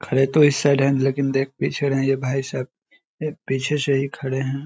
खड़े तो इस साईड है लेकिन देख पीछे रहे है ये भाईसाहब पीछे से ही खड़े है ।